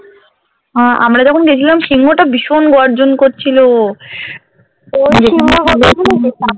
আ~আমরা যখন গেছিলাম তখন সিংহ টা ভীষন গর্জন করছিল